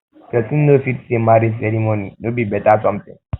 pesin no fit say marriage ceremony no be be better something